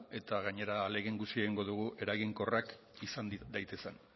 eta gainera ahalegin guztia egingo dugu eraginkorrak izan daitezen